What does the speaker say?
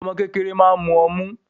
Omo kékeré máa ń mu ọmú